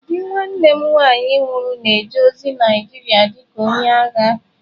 Di nwanne m nwanyị nwụrụ na-eje ozi Naịjirịa dị ka onye agha.